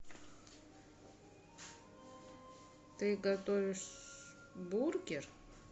ты готовишь бургер